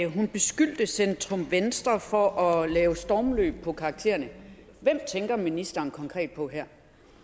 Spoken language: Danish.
hun beskyldte centrum venstre for at lave stormløb på karaktererne hvem tænker ministeren konkret på her